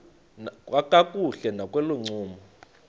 kakuhle nakolo ncumo